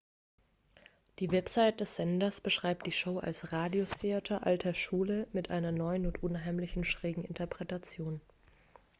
die website des senders beschreibt die show als radiotheater alter schule mit einer neuen und unheimlichen schrägen interpretation